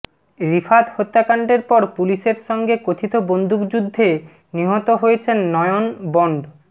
রিফাত হত্যাকাণ্ডের পর পুলিশের সঙ্গে কথিত বন্দুকযুদ্ধে নিহত হয়েছেন নয়ন বন্ড